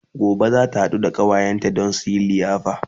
Gobe zata haɗu da ƙawayenta Dan suyi liyafa